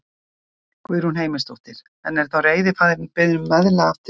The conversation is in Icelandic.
Guðrún Heimisdóttir: En er þá rétti faðirinn beðinn um meðlag aftur í tímann?